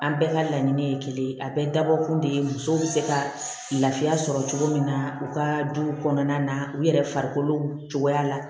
An bɛɛ ka laɲini ye kelen ye a bɛɛ dabɔkun de ye musow bɛ se ka lafiya sɔrɔ cogo min na u ka duw kɔnɔna na u yɛrɛ farikolo cogoya la